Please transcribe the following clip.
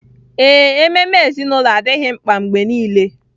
Ee, ememe ezinụlọ adịghị mkpa mgbe nile